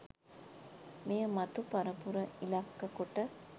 මෙය මතු පරපුර ඉලක්ක කොට